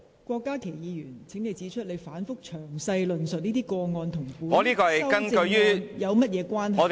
郭家麒議員，請指出你反覆詳細論述此等個案，與當前討論的修正案有何關係。